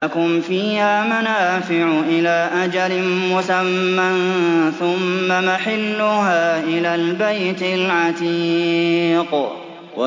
لَكُمْ فِيهَا مَنَافِعُ إِلَىٰ أَجَلٍ مُّسَمًّى ثُمَّ مَحِلُّهَا إِلَى الْبَيْتِ الْعَتِيقِ